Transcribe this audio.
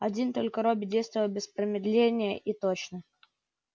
один только робби действовал без промедления и точно